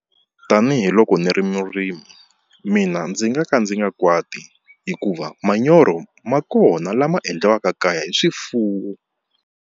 Tanihiloko ndzi ri murimi mina ndzi nga ka ndzi nga kwati hikuva manyoro ma kona lama endliwaka kaya hi swifuwo.